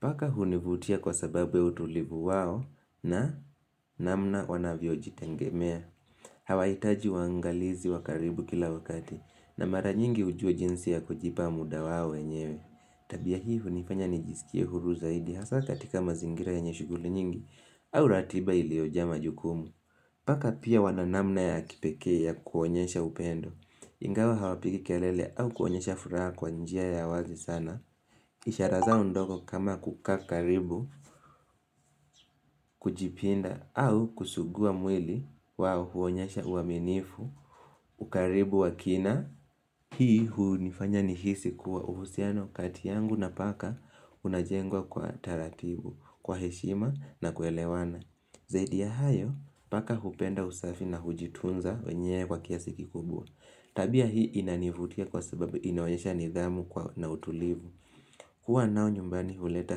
Paka hunivutia kwa sababu utulivu wao na namna wanavyojitengemea. Hawahitaji uangalizi wa karibu kila wakati na mara nyingi hujua jinsi ya kujipa muda wao wenyewe. Tabia hii hunifanya nijisikie huru zaidi hasa katika mazingira yenye shughuli nyingi au ratiba iliyojaa majukumu Paka pia wana namna ya kipekee ya kuonyesha upendo Ingawa hawapigi kelele au kuonyesha furaha kwa njia ya wazi sana ishara zao ndogo kama kukaa karibu kujipinda au kusugua mwili wao huonyesha uaminifu ukaribu wa kina hii hunifanya nihisi kuwa uhusiano kati yangu na paka Unajengwa kwa taratibu, kwa heshima na kuelewana Zaidi ya hayo, paka hupenda usafi na hujitunza wenyewe kwa kiasi kikubwa Tabia hii inanivutia kwa sababu inionyesha nidhamu na utulivu kuwa nao nyumbani huleta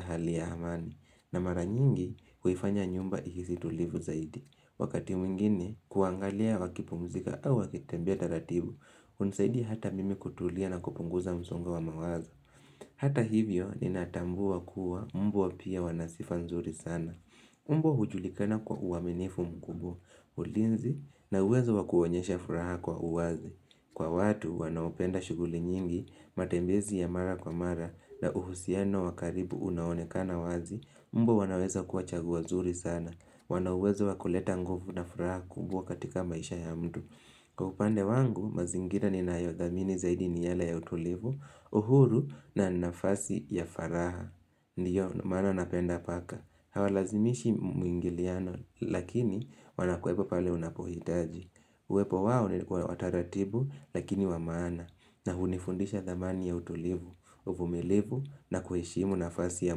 hali ya amani na mara nyingi, huifanya nyumba ihisi tulivu zaidi Wakati mwingine, kuangalia wakipumzika au wakitembea taratibu Unasaidi hata mimi kutulia na kupunguza msongo wa mawazo Hata hivyo ninatambua kuwa mbwa pia wana sifa nzuri sana. Mbwa hujulikana kwa uaminifu mkubwa, ulinzi, na uwezo wa kuonyesha furaha kwa uwazi. Kwa watu wanaopenda shughuli nyingi, matembezi ya mara kwa mara, na uhusiano wa karibu unaoonekana wazi, mbwa wanaweza kuwa chaguo nzuri sana. Wana uwezo wa kuleta nguvu na furaha kubwa katika maisha ya mtu. Kwa upande wangu, mazingira ninayothamini zaidi ni yale ya utulivu, uhuru na nafasi ya faraha. Ndio, maana napenda paka. Hawalazimishi mwingiliano, lakini wanakuwepo pale unapohitaji. Uwepo wao ni wataratibu, lakini wa maana. Na hunifundisha thamani ya utulivu, uvumilivu na kuheshimu nafasi ya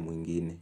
mwingine.